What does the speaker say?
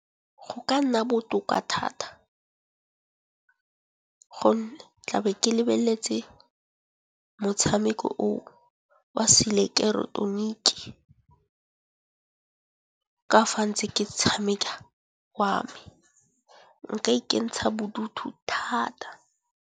Go ka nna botoka thata gonne tla be ke lebeletse motshameko o wa se ileketoroniki. Ka fa ntse ke tshameka wa me nka ikentsha bodutu thata.